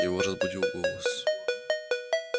его разбудил голос